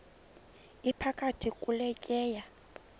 iphakathi kule tyeya